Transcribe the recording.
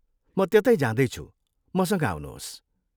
म त्यतै जाँदैछु, मसँग आउनुहोस्।